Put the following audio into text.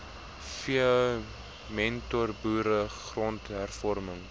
v mentorboere grondhervorming